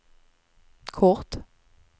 kort